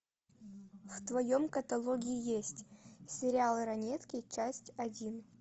в твоем каталоге есть сериал ранетки часть один